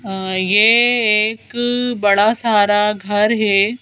अं ये एक बड़ा सारा घर है।